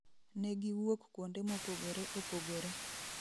Negiwuok kuonde mopogore opogore